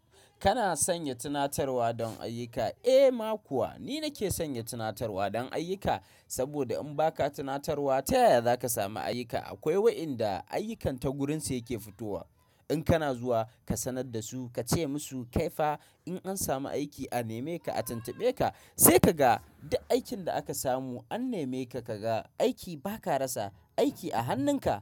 Kana sanya tunatarwa don ayyuka? Eh, ma kuwa ni nake sanya tunatarwa don ayyuka. Saboda in ba ka tunatarwa, ta ya za ka samu ayyuka? Akwai wayadda ayyukan ta gurin sa yake fitowa. In kana zuwa, ka sanar da su ka ce musu, "kaifa in an samu aiki a neme ka, a tantabe ka, sai ka ga da aikin da aka samu an neme ka ka ga aiki ba ka rasa aiki a hannun ka."